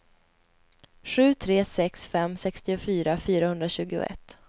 sju tre sex fem sextiofyra fyrahundratjugoett